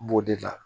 B'o de la